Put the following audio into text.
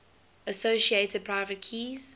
associated private keys